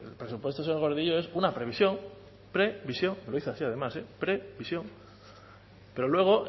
presupuesto señor gordillo es una previsión pre visión lo dice así además pre visión pero luego